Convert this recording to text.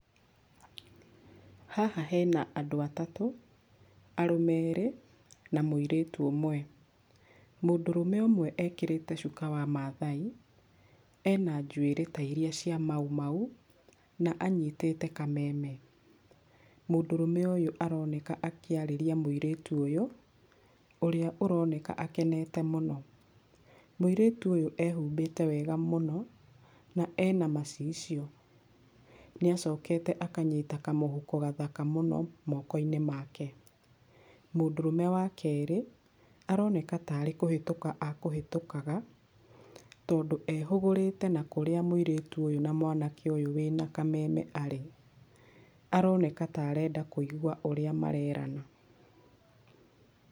Haha hena andũ atatũ, arũme erĩ na mũirĩtu ũmwe, mũndũrũme ũmwe ekĩrĩte cuka wa mathai, ena njũĩrĩ ta iria cia mau mau na anyitĩte kameme, mũndurũme ũyũ aroneka akĩarĩria mũirĩtu ũyũ, ũrĩa aroneka akenete mũno, mũirĩtu ũyũ ehubĩte wega mũno na ena macicio, nĩacokete akanyita kamũhuko kathaka mũno moko-inĩ make. Mũndũrũme wa kerĩ, aroneka tarĩ kũhĩtũka ekũhĩtũkaga, tondũ ehũgũrĩte na kũrĩa mũirĩtu ũyũ na mwanake ũyũ wĩna kameme arĩ, aroneka ta arenda kũigua ũrĩa marerana.